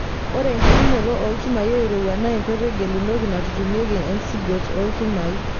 Ore enkitutumoto oolchumai oirowua naa enkoitoi gelunoti naitutmieki ncgot oolchumai.